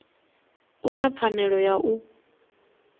u na pfanelo ya u